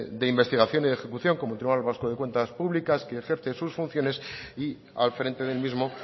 de investigación y de ejecución como el tribunal vasco de cuentas públicas que ejerce sus funciones y al frente del mismo